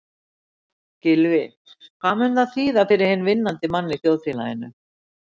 Gylfi, hvað mun það þýða fyrir hinn vinnandi mann í þjóðfélaginu?